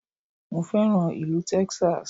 Mo fẹ́ràn ìlú Texas